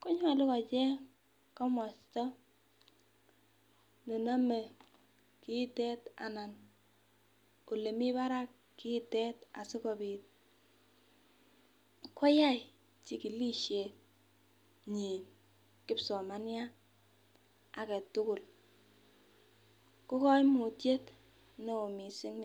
konyolu kocheny komosta nenome kiitet anan olemii barak kiitet asikobit koyai chikilishet nyii kipsomaniat ake tugul ko koimutiet neo mising.